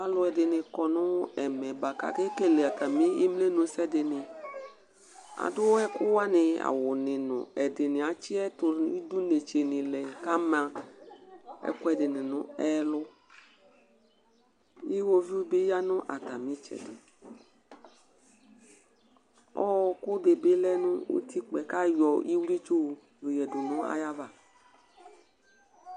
alʊɛɗɩnɩ ƙɔ nʊ ɛmɛ aƙeƙele ɩmenusɛ ɛɗɩnɩ aɗʊ awʊnɩ ɛɗɩnɩatsɩ ɩɗʊnɩlɛ ama ɛƙʊ ɛɗɩnɩnʊ ɛlʊ ɩwoʋɩʊɓɩ ɔƴanʊ atamɩ ɩtsɛɗɩ ɔƙʊ ɛɗɩɓɩ ɔlɛnʊ ʊtɩƙpa ƙaƴɔ ɩwlɩtsʊ ƴoƴaɗʊnʊ aƴaʋa